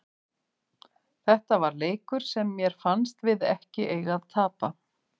Þetta var leikur sem mér fannst við ekki eiga að tapa.